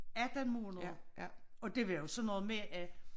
18 måneder og det var jo sådan noget med at